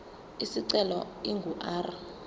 isicelo ingu r